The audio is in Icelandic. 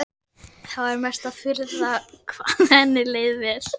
Það var mesta furða hvað henni leið vel.